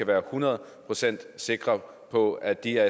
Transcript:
være et hundrede procent sikker på at de her